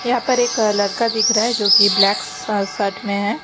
यहां पर एक लड़का दिख रहा है जो की ब्लैक शर्ट में है।